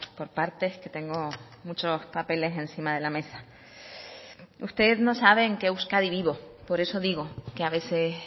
por partes que tengo muchos papeles encima de la mesa usted no sabe en qué euskadi vivo por eso digo que a veces